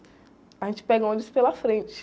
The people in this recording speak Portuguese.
A gente pega o ônibus pela frente.